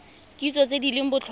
kitso tse di leng botlhokwa